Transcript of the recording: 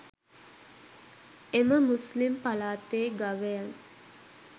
එම මුස්ලිම් පලාතේ ගවයන්